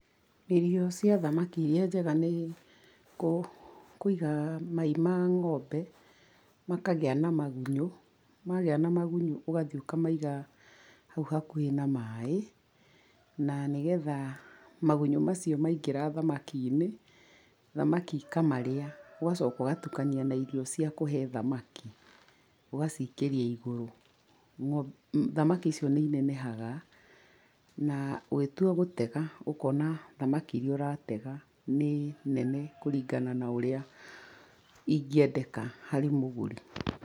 Irio cia thamaki irĩa njega nĩ, kũ kũiga mai ma ng'ombe, makagĩa na magunyũ, magĩa na magunyũ ũgathiĩ ũkamaiga, hau hakuhĩ na maĩ, na nĩgetha, magunyũ macio maingĩra thamaki-inĩ. Thamaki ikamarĩa, ũgacoka ũgatukania na irio cia kũhe thamaki, ũgacikĩria iguru. Thamaki icio nĩ inenehaga, na ũgĩtua gũtega ũkona thamaki irĩa ũratega nĩ, nene kũrĩngana na ũrĩa, ingĩendeka harĩ mũgũri.